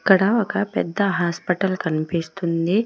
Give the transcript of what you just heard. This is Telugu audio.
ఇక్కడ ఒక పెద్ద హాస్పటల్ కనిపిస్తుంది.